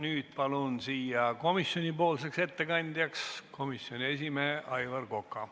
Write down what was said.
Nüüd palun ettekandeks komisjoni nimel kõnetooli komisjoni esimehe Aivar Koka.